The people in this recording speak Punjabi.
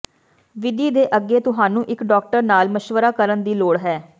ਵਿਧੀ ਦੇ ਅੱਗੇ ਤੁਹਾਨੂੰ ਇੱਕ ਡਾਕਟਰ ਨਾਲ ਮਸ਼ਵਰਾ ਕਰਨ ਦੀ ਲੋੜ ਹੈ